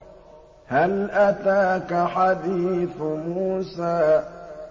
هَلْ أَتَاكَ حَدِيثُ مُوسَىٰ